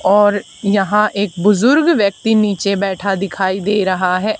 और यहां एक बुजुर्ग व्यक्ति नीचे बैठा दिखाई दे रहा है।